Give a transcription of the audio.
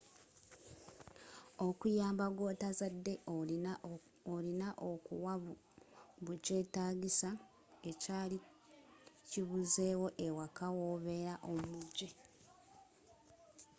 okuyamba gwotazadde olina okuwa bu kyetaagisa ekyaali kibuzeewo awaka wobeela omujje